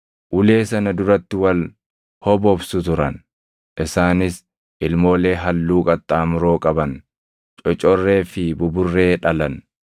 ulee sana duratti wal hobobsu turan; isaanis ilmoolee halluu qaxxaamuroo qaban, cocorree fi buburree dhalan.